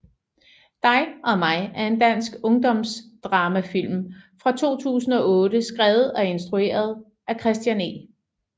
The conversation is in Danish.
Dig og mig er en dansk ungdomsdramafilm fra 2008 skrevet og instrueret af Christian E